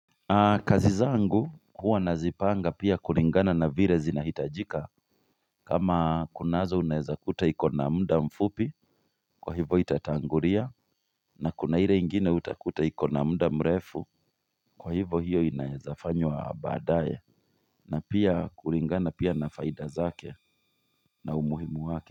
Kazi zangu huwa nazipanga pia kulingana na vile zinahitajika kama kunazo unaeza kuta iko na mda mfupi Kwa hivo itatangulia na kuna ile ingine utakuta ikona mda mrefu Kwa hivo hiyo inaeza fanywa baadaye na pia kulingana pia na faida zake na umuhimu wake.